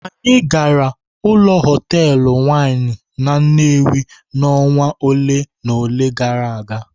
Anyị gara ụlọ hotelụ winụ n'Nnewi n'ọnwa ole na ole gara aga.